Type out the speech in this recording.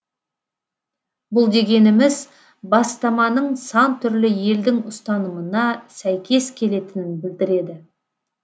бұл дегеніміз бастаманың сан түрлі елдің ұстанымына сәйкес келетінін білдіреді